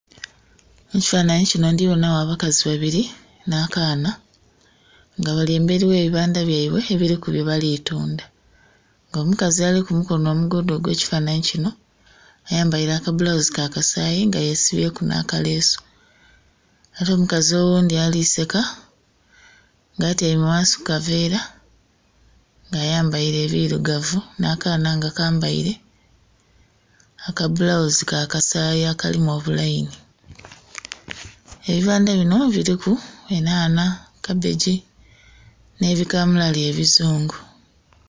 Mukifanhanhi kino ndiboona wo bakazi babiri na kaana nga bali emberi we bibandha byaibwe ebiriku bye balitunda nga omukazi ali ku mukono omugoodha ogwe kifananhi kino ayambaire aka bulawuzi ka kasaayi nga yesibyeku naka lesu. Ate omukazi oghundi ali seeka nga atiame ghansi ku kaveera nga ayambaire birugavu na kaana nga kambaire akabulawuzi ka kasaayi akalimu obu laini. Ebibandha bino biriku enana, kabeji ne bikamulali ebizungu